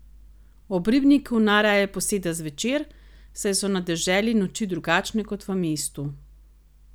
Ob ribniku najraje poseda zvečer, saj so na deželi noči drugačne kot v mestu.